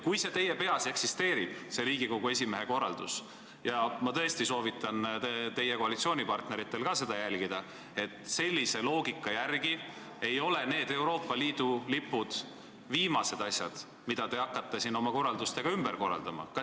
Kui see vaid teie peas eksisteerib, see Riigikogu esimehe korraldus, siis ma tõesti soovitan teie koalitsioonipartneritel ka seda arvestada, et sellise loogika järgi ei ole Euroopa Liidu lipud viimased asjad, mida te siin oma korraldustega ümber organiseerima hakkate.